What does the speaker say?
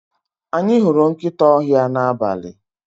Anyi huru nkita ohia na abali.